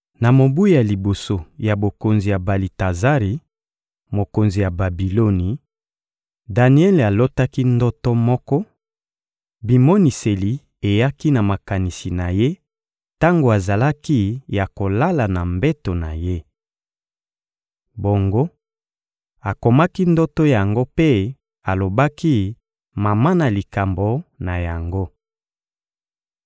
Na mobu ya liboso ya bokonzi ya Balitazari, mokonzi ya Babiloni, Daniele alotaki ndoto moko: bimoniseli eyaki na makanisi na ye tango azalaki ya kolala na mbeto na ye. Bongo, akomaki ndoto yango mpe alobaki mama na likambo na yango.